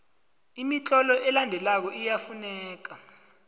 imitlolo elandelako iyafuneka